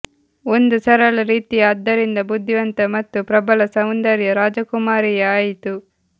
ಒಂದು ಸರಳ ರೀತಿಯ ಆದ್ದರಿಂದ ಬುದ್ಧಿವಂತ ಮತ್ತು ಪ್ರಬಲ ಸೌಂದರ್ಯ ರಾಜಕುಮಾರಿಯ ಆಯಿತು